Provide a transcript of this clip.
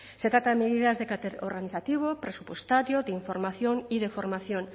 se trata de medidas de carácter organizativo presupuestario de información y de formación